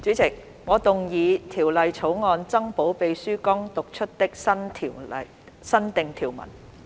主席，我動議《條例草案》增補秘書剛讀出的新訂條文。